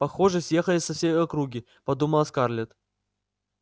похоже съехались со всей округи подумала скарлетт